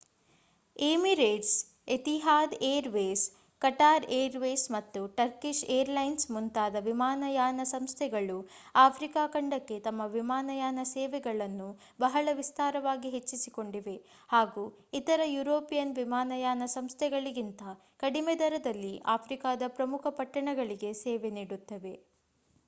Emirates Etihad airways Qatar airways ಮತ್ತು Turkish airlines ಮುಂತಾದ ವಿಮಾನಯಾನ ಸಂಸ್ಥೆಗಳು ಆಫ್ರಿಕಾ ಖಂಡಕ್ಕೆ ತಮ್ಮ ವಿಮಾನಯಾನ ಸೇವೆಗಳನ್ನು ಬಹಳ ವಿಸ್ತಾರವಾಗಿ ಹೆಚ್ಚಿಸಿಕೊಂಡಿವೆ ಹಾಗೂ ಇತರ ಯುರೋಪಿಯನ್ ವಿಮಾನಯಾನ ಸಂಸ್ಥೆಗಳಿಗಿಂತ ಕಡಿಮೆ ದರಗಳಲ್ಲಿ ಆಫ್ರಿಕಾದ ಪ್ರಮುಖ ಪಟ್ಟಣಗಳಿಗೆ ಸೇವೆ ನೀಡುತ್ತಿವೆ